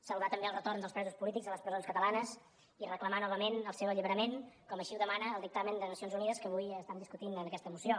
saludar també el retorn dels presos polítics a les presons catalanes i reclamar novament el seu alliberament com així ho demana el dictamen de nacions unides que avui estem discutint en aquesta moció